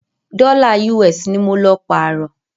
Dọ́là US ní mọ lọ pààrọ́.